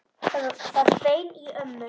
Það hvein í ömmu.